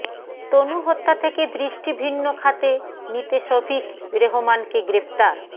তনু হত্যা থেকে দৃষ্টি ভিন্ন খাতে নিতে শফিক রেহমানকে গ্রেপ্তার